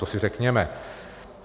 To si řekněme.